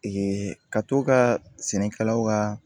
ka t'o ka sɛnɛkɛlaw ka